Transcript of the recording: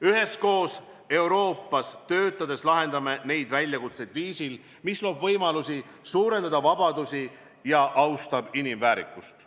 Üheskoos Euroopas töötades lahendame neid väljakutseid viisil, mis loob võimalusi suurendada vabadusi ja austab inimväärikust.